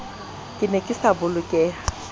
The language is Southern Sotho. ke ne ke sa bolokeha